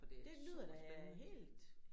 For det er super spændende